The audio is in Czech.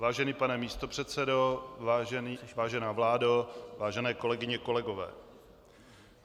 Vážený pane místopředsedo, vážená vládo, vážené kolegyně, kolegové.